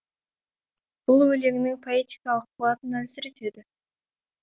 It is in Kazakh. бұл өлеңнің поэтикалық қуатын әлсіретеді